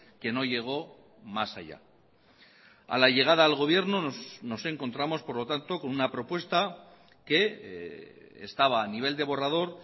que no llegó más allá a la llegada al gobierno nos encontramos por lo tanto con una propuesta que estaba a nivel de borrador